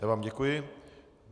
Já vám děkuji.